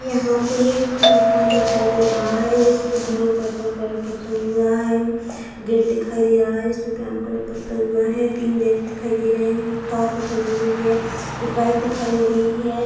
यहाँ पे एक मकान दिखाई दे रहा है जिसपे ब्लू पर्पल कलर पुता हुआ है। गेट दिख रहा है जिसपे ब्राउन कलर पोता हुआ है। तीन जेंट्स खड़े हैं। एक कार दिखाई दे रही है। एक बाइक दिखाई दे रही है।